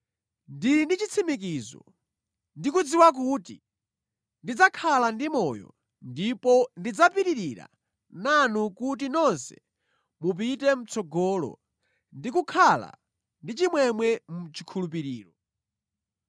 Ndili ndi chitsimikizo, ndikudziwa kuti ndidzakhala ndi moyo ndipo ndidzapitirira nanu kuti nonse mupite mʼtsogolo ndi kukhala ndi chimwemwe mu chikhulupiriro